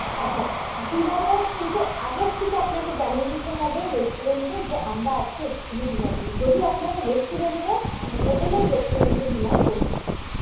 আচ্ছা dinner এও কিন্তু আগের থেকে আপনাকে জানিয়ে দিতে হবে restaurant এ যে আমরা আজকে এখানে dinner করবো যদি আপনারা restaurant এ মানে hotel এর restaurant এ dinner করতে চান